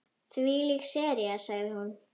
Þvílík sería sagði hún.